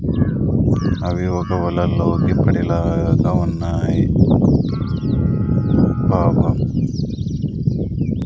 అవి ఒక వలల్లో డిప్పరి లాగా ఉన్నాయి పాపం --